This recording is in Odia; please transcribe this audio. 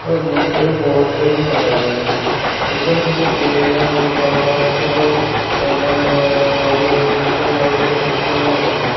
ଗୋଟେ ବୁକ୍ ଷ୍ଟୋର ବୋର୍ଡ ଟେ ବି ମରା ହେଇଚି। ଉପରେ କେତେ ପେନ୍ କଲମ ହେକା ସବୁ ଏମ୍_ଆଇ_ଲ୍ ବହି ଓଡିଆ ଇଂଲିଶ ବହି ସବୁ ପୋଷ୍ଟର ମରା ହେଇଚି।